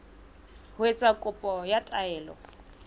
ho etsa kopo ya taelo